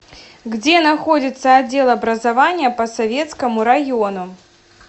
где находится отдел образования по советскому району